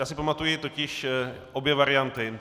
Já si pamatuji totiž obě varianty.